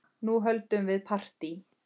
Nú höldum við partí!